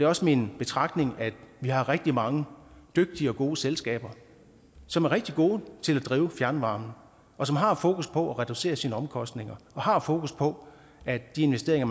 også min betragtning at vi har rigtig mange dygtige og gode selskaber som er rigtig gode til at drive fjernvarmen og som har fokus på at reducere sine omkostninger og har fokus på at de investeringer